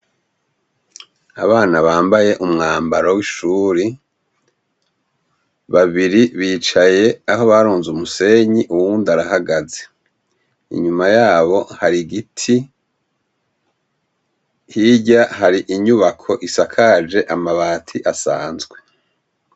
Abana bambaye umwambaro w'ishure, babiri bicaye aho barunze umusenyi, uwundi arahagaze. Inyua yabo hari igiti, hirya hari inyubako isakaje amabati asanzwe.